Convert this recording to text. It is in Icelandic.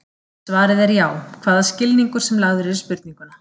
Svarið er já, hvaða skilningur sem lagður er í spurninguna.